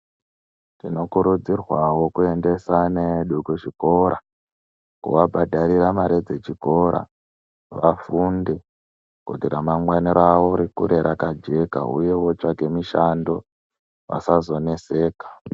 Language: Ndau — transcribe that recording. Tinokurudzirwawo kuendesa ana edu kuzvikora. Kuvabhadharira mare dzechikora, vafunde kuti ramangwana ravo rikure rakajeka uye votsvage mushando vasazoneseka.